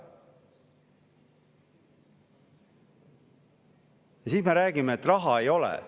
Ja siis me räägime, et raha ei ole.